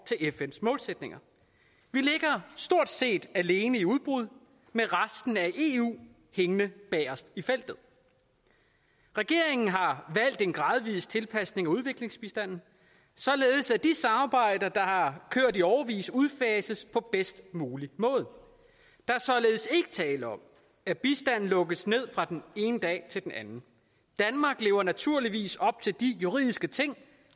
til fns målsætninger vi ligger stort set alene i udbrud med resten af eu hængende bagest i feltet regeringen har valgt en gradvis tilpasning af udviklingsbistanden således at de samarbejder der har kørt i årevis udfases på bedst mulig måde der er således ikke tale om at bistanden lukkes ned fra den ene dag til den anden danmark lever naturligvis op til de juridiske ting